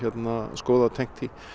skoðað tengt því